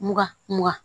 Mura mura